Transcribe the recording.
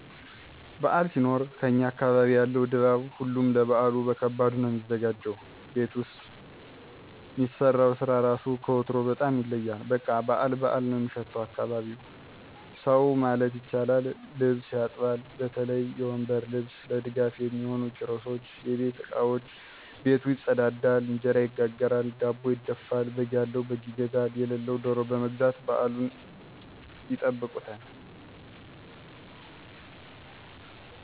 በዓል ሲኖር ከኛ አካባቢ ያለው ድባብ ሁሉም ለበዓሉ በከባዱ ነው ሚዘጋጀው ቤት ውስጥ ሚሰራው ስራ ራሱ ከወትሮው በጣም ይለያል በቃ በዓል በዓል ነው ሚሸተው አካባቢው። ሰው ማለት ይቻላል ልብስ ያጥባል በተለይ የወንበር ልብስ፣ ለድጋፍ ሚሆኑ ኪሮሶች፣ የቤት እቃወች፣ ቤቱ ይፀዳዳል፣ እንጀራ ይጋገራል፣ ዳቦ ይደፋል፣ በግ ያለው በግ ይገዛል የለለውም ደሮ በመግዛት በዓሉን ይጠብቁታል።